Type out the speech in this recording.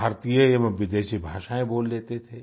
भारतीय एवं विदेशी भाषाएँ बोल लेते थे